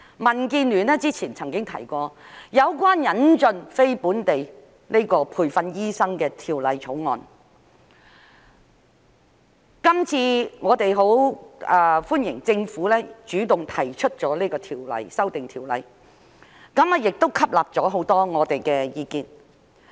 民建聯曾經提出有關引進非本地培訓醫生的條例草案，我們十分歡迎政府主動提出這次條例修訂，亦吸納了很多我們的意見。